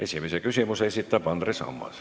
Esimese küsimuse esitab Andres Ammas.